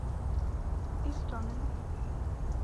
истомину